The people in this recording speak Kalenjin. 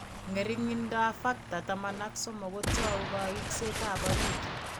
Ng'ering'indoab Factor XIII kotou kaiksetab orit.